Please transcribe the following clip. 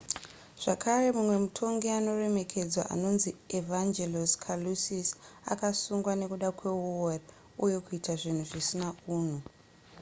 zvakare mumwe mutongi anoremekedzwa anonzi evangelos kalousis akasungwa nekuda kweuori uye kuita zvinhu zvisina unhu